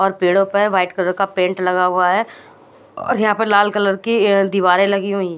और पेड़ों पे व्हाइट कलर का पेन्ट लगा हुआ है और यहाँ पर लाल कलर की दिवरे लगी हुई--